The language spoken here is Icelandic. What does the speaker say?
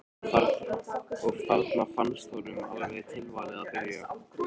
Og þarna fannst honum alveg tilvalið að byggja.